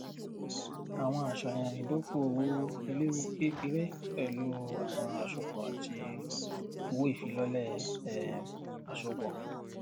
àwọn àṣàyàn ìdókòòwò eléwu kékeré pẹlú àwọn àsopọ àti owóìfilọlẹ um àsopọ